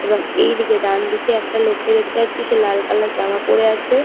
এবং এইদিকে ডানদিকে একটা লোককে দেখতে পাচ্ছি সে লাল কালার জামা পরে আছে |